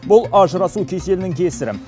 бұл ажырасу кеселінің кесірі